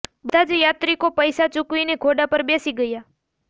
બધા જ યાત્રિકો પૈસા ચૂકવીને ઘોડા પર બેસી ગયા